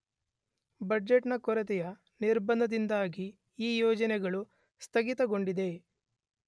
budget ನ ಕೊರತೆಯ ನಿರ್ಬಂಧದಿಂದಾಗಿ ಈ ಯೋಜನೆಗಳು ಸ್ತಗಿತಗೊಂಡಿದೆ